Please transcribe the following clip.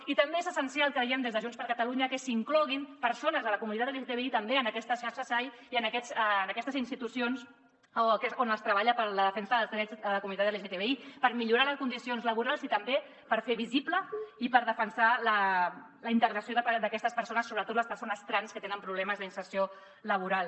i també és essencial creiem des de junts per catalunya que s’hi incloguin persones de la comunitat lgtbi també en aquestes xarxa sai i en aquestes institucions on es treballa per a la defensa dels drets de la comunitat lgtbi per millorar les condicions laborals i també per fer visible i per defensar la integració d’aquestes persones sobretot les persones trans que tenen problemes d’inserció laboral